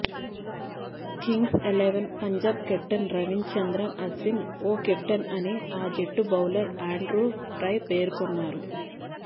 Kings Eleven Punjab captain Ravichandran Ashwin ఓకెప్టెన్ అని ఆ జట్టు బౌలర్ ఆండ్రూ టై పేర్కొన్నారు